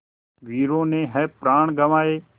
वीरों ने है प्राण गँवाए